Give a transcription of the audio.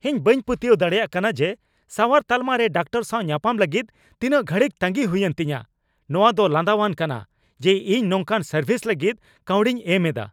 ᱤᱧ ᱵᱟᱹᱧ ᱯᱟᱹᱛᱭᱟᱹᱣ ᱫᱟᱲᱮᱭᱟᱜ ᱠᱟᱱᱟ ᱡᱮ ᱥᱟᱣᱟᱨ ᱛᱟᱞᱢᱟ ᱨᱮ ᱰᱟᱠᱛᱟᱨ ᱥᱟᱣ ᱧᱟᱯᱟᱢ ᱞᱟᱹᱜᱤᱫ ᱛᱤᱱᱟᱹᱜ ᱜᱷᱟᱹᱲᱤᱡ ᱛᱟᱸᱜᱤ ᱦᱩᱭᱮᱱ ᱛᱤᱧᱟᱹ ! "ᱱᱚᱶᱟ ᱫᱚ ᱞᱟᱸᱫᱟᱣᱟᱱ ᱠᱟᱱᱟ ᱡᱮ ᱤᱧ ᱱᱚᱝᱠᱟᱱ ᱥᱟᱨᱵᱷᱤᱥ ᱞᱟᱹᱜᱤᱫ ᱠᱟᱹᱣᱰᱤᱧ ᱮᱢ ᱮᱫᱟ ᱾"